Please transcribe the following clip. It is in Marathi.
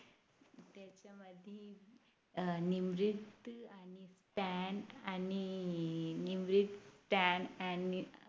अं निमत्रीत आणि stan आणि निमत्रीत stan आणि